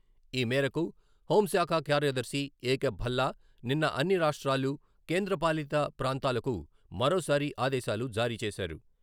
ఈ మేరకు హోంశాఖ కార్యదర్శి ఏకే భల్లా నిన్న అన్ని రాష్ట్రాలు, కేంద్రపాలిత ప్రాంతాలకు మరోసారి ఆదేశాలు జారీ చేశారు.